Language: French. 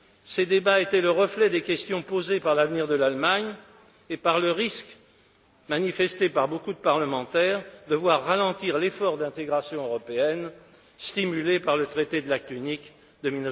Ses débats étaient le reflet des questions posées par l'avenir de l'Allemagne et par le risque, craint par beaucoup de parlementaires, de voir ralentir l'effort d'intégration européenne stimulé par le traité de l'acte unique de